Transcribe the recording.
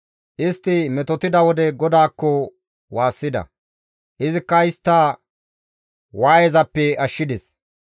Istti metotida wode GODAAKKO waassida; izikka istta waayezappe ashshides.